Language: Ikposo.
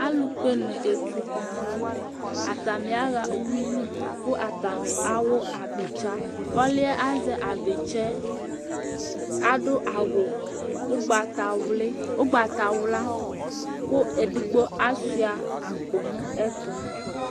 Alu kpɛ la ntɛ Atani aɣa ʋwʋili kʋ atani awu abitsa Ɔliɛ azɛ abitsa yɛ adu awu ugbatawla kʋ ɛdigbo asʋia akpo nʋ ɛtʋ